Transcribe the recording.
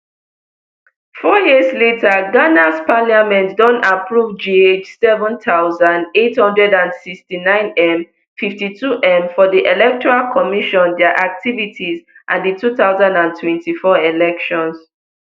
four years later ghanas parliament don approve gh seven thousand, eight hundred and sixty-nine m fifty-two m for di electoral commission dia activities and di two thousand and twenty-four elections